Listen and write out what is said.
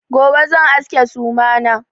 Gobe zan aske suma na.